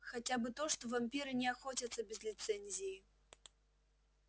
хотя бы то что вампиры не охотятся без лицензии